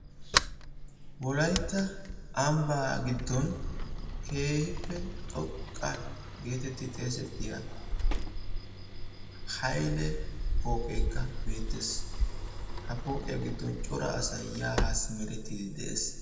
Wolaytta ambba giddon keehippe xoqqa getetti xeesettiya Hayle pooqeekka beettees. Ha pooqiya giddon cora asay yaa haa hemetettiide de'ees.